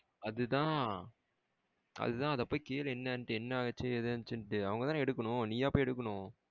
அதுதான் அத போய் கேளு என்னனுன்ட்டு. என்ன ஆச்சு? எது ஆச்சுன்ட்டு? அவங்கதான எடுக்கணும். நீயா போய் எடுக்கணும்?